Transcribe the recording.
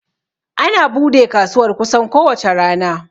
Ana bude kasuwar kusan ko wace rana